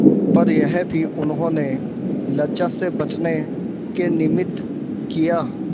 पर यह भी उन्होंने लज्जा से बचने के निमित्त किया